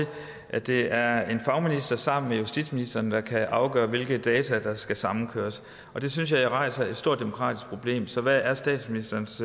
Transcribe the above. at det er en fagminister sammen med justitsministeren der kan afgøre hvilke data der skal samkøres det synes jeg rejser et stort demokratisk problem så hvad er statsministerens